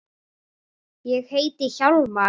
Ég heiti Hjálmar